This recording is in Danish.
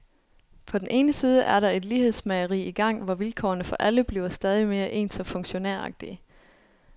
På den ene side er der et lighedsmageri i gang, hvor vilkårene for alle bliver stadig mere ens og funktionæragtige.